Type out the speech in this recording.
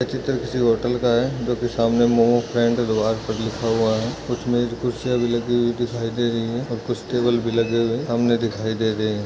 ये चित्र किसी होटल का है जो की सामने मोमो फ्रेंड दीवार पर लिखा हुआ है कुछ मेज कुरसिया भी लागि हुई दिखाई दे रही है और कुछ टेबल भी लगे हुए सामने दिखाई दे रहे है।